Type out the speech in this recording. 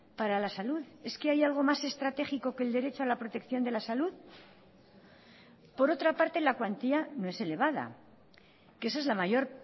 para la salud es que hay algo más estratégico que el derecho a la protección de la salud por otra parte la cuantía no es elevada que esa es la mayor